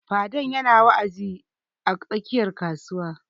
Fadan ya na wa'azi a tsakiyar kasuwa